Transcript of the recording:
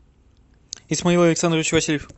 исмаил александрович васильев